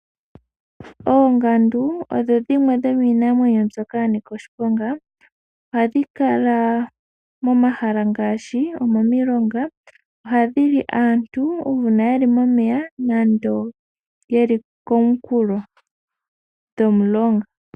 Oongandu odho dhimwe dhomiinamwenyo mbyoka yanika oshiponga. ohadhi kala momahala ngaashi, omomilonga. Ohadhili aantu uuna yeli momeya nande yeli komukulo gomulonga.